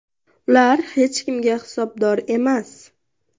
Ular hech kimga hisobdor emas.